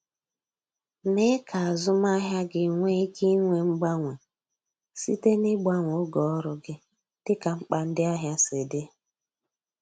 Mee ka azụmahịa gị nwee ike inwe mgbanwe site n’ịgbanwe oge ọrụ gị dịka mkpa ndị ahịa si dị.